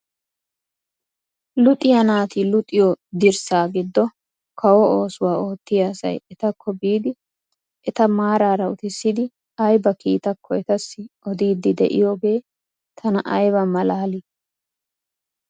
Luxiyaa naati luxxiyaa dirssaa giddo kawo oosuwaa oottiyaa asay etakko biidi eta maarara uttisidi ayba kiitaakko etassi oddidi de'iyoogee tana ayba malaalii!